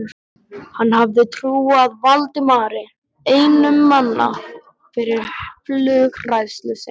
Hann hafði trúað Valdimari einum manna fyrir flughræðslu sinni.